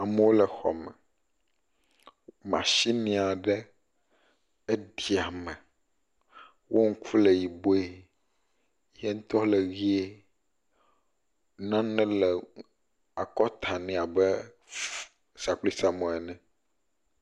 Amewo le xɔme, mashini aɖe eɖi ame, wo ŋku le yibɔe ye ŋutɔ le ʋie, nane le akɔta ne abe sakplisamɔ ene.